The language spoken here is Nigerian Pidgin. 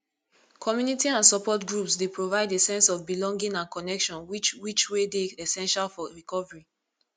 community and support groups dey provide a sense of belonging and connection which which wey dey essential for recovery